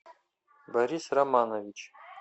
борис романович